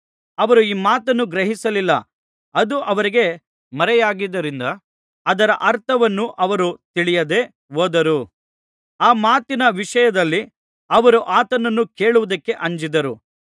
ಅವರು ಈ ಮಾತನ್ನು ಗ್ರಹಿಸಲಿಲ್ಲ ಅದು ಅವರಿಗೆ ಮರೆಯಾಗಿದ್ದುದರಿಂದ ಅದರ ಅರ್ಥವನ್ನು ಅವರು ತಿಳಿಯದೆ ಹೋದರು ಆ ಮಾತಿನ ವಿಷಯದಲ್ಲಿ ಅವರು ಆತನನ್ನು ಕೇಳುವುದಕ್ಕೆ ಅಂಜಿದರು